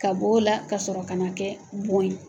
Ka b'o la kasɔrɔ ka na kɛ bon ye